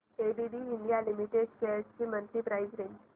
ABB India limited shares ची monthly price range